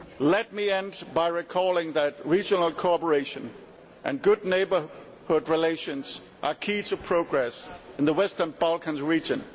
Let me end by recalling that regional cooperation and good neighbourhood relations are key to progress in the Western Balkans region.